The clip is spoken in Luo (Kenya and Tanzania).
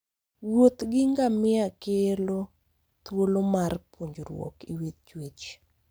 Wuoth gi ngamia kero thuolo mar puonjruok e wi chwech